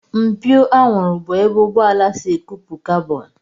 Mpio anwụrụ bụ ebe ụgbọala si ekupu kabọn